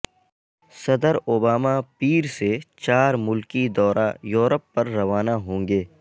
صدر اوباما پیر سے چار ملکی دورہ یورپ پر روانہ ہونگے